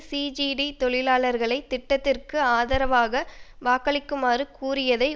CGT தொழிலாளர்களை திட்டத்திற்கு ஆதரவாக வாக்களிக்குமாறு கூறியதை